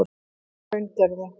Hraungerði